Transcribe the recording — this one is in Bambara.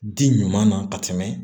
Di ɲuman na ka tɛmɛ